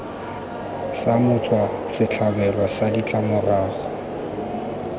sa motswa setlhabelo sa ditlamorago